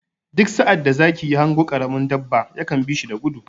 Duk sa'ad da zaki ya hango ƙaramin dabba ya kan bi shi da gudu.